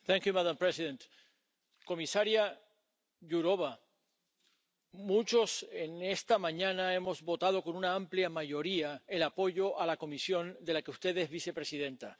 Señora presidenta, comisaria Jourová, muchos esta mañana hemos votado con una amplia mayoría el apoyo a la Comisión de la que usted es vicepresidenta.